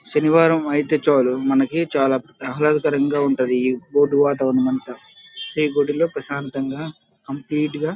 శనివారం ఐతే చాలు మనకి చాలా ఆహ్లదకరంగా ఉంటుంది. ఈ గుడి లో ప్రశాంతంగా కంప్లీట్ గ --